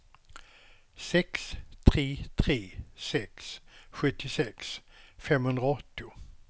sex tre tre sex sjuttiosex femhundraåttio